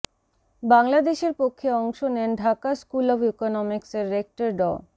বাংলাদেশের পক্ষে অংশ নেন ঢাকা স্কুল অব ইকোনমিক্সের রেক্টর ড